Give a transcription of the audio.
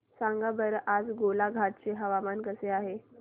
सांगा बरं आज गोलाघाट चे हवामान कसे आहे